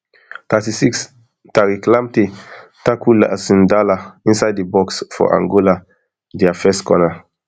thirty-six tariq lamptey tackle jason dala inside di box box for angola dia first corner